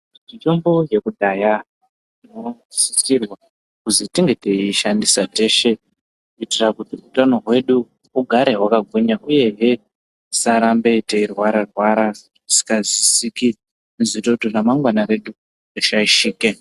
Mitombo yekudhaya inosisirwa kuzi tinge teiishandisa teshe. Kuitira kuti utano hwedu ugare vakagwinya, uyehe tisarambe tei rwara-rwara zvizingazwisisiki zvinoita kuti ramangwana redu rishaishike.